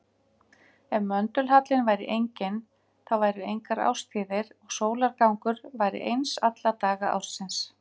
Ef möndulhallinn væri enginn þá væru engar árstíðir og sólargangur væri eins alla daga ársins.